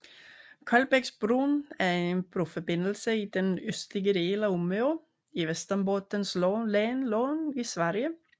Kolbäcksbron er en broforbindelse i den østlige del af Umeå i Västerbottens län i Sverige